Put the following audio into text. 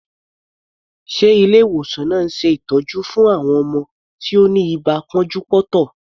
Ṣe Ilé ìwòsàn náà ń ṣe ìtọ́jú fún àwọn ọmọ tí ó ni ibà pọ́njú-pọ́ntọ̀?